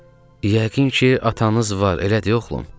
Yəqin ki, atanız var, elə deyil, oğlum?